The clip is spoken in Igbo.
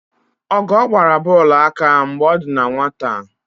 Ọgọọ gbara bọọlụ aka mgbe ọ dị na nwata.